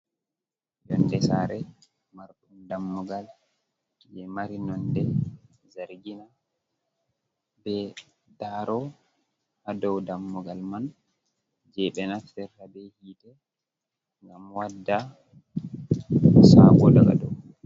Yonde saare marɗum dammugal je mari nonde zargina, be daro hadau dammugal man, je ɓe naftirta be hite, mgam wadda sago daga dow.